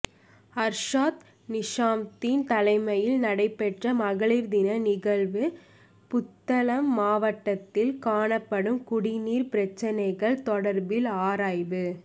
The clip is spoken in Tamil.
அர்ஷாத் நிசாம்தீன் தலைமையில் நடைபெற்ற மகளிர்தின நிகழ்வு புத்தளம் மாவட்டத்தில் காணப்படும் குடி நீர் பிரச்சினைகள் தொடர்பில் ஆராய்வு